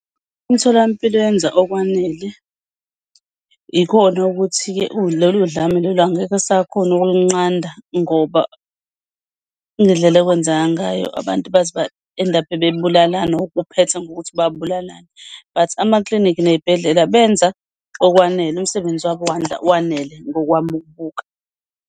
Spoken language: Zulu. Umtholampilo yenza okwanele ikona ukuthi-ke lolu dlame lolu angeke esakhona ukulunqanda ngoba ngedlela okwenzeka ngayo abantu baze ba-end-up, bebulalane or kuphethe ngokuthi babulalane. But amaklinikhi ney'bhedlela benza okwanele umsebenzi wabo wanele ngokwami ukubuka.